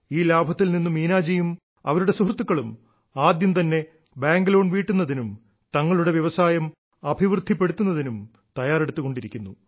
ഈ ലാഭത്തിൽ നിന്നും മീനാജിയും അവരുടെ സുഹൃത്തുക്കളും ആദ്യം തന്നെ ബാങ്ക് ലോൺ വീട്ടുന്നതിനും തങ്ങളുടെ വ്യവസായം അഭിവൃദ്ധിപ്പെടുത്തുന്നതിനും തയ്യാറെടുത്തുകൊണ്ടിരിക്കുന്നു